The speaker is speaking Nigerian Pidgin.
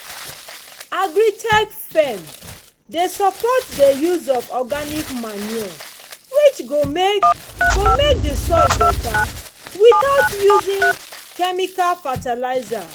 agri-tech firm dey support dey use of organic manure which go make go make the soil beta without using chemical fertilizer